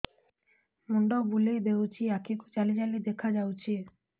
ମୁଣ୍ଡ ବୁଲେଇ ଦେଉଛି ଆଖି କୁ ଜାଲି ଜାଲି ଦେଖା ଯାଉଛି